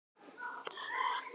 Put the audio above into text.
Við sækjum eggin.